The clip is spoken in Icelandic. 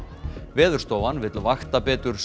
Veðurstofan vill vakta betur